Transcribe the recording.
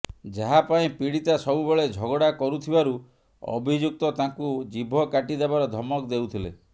ଯାହା ପାଇଁ ପୀଡ଼ିତା ସବୁ ବେଳେ ଝଗଡ଼ା କରୁଥିବାରୁ ଅଭିଯୁକ୍ତ ତାଙ୍କୁ ଜିଭ କାଟିଦେବାର ଧମକ ଦେଉଥିଲେ